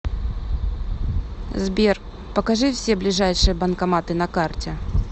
сбер покажи все ближайшие банкоматы на карте